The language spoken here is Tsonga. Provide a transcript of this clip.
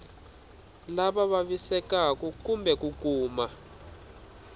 lava vavisekaku kumbe ku kuma